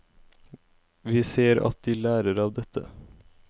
Vi ser at de lærer av dette.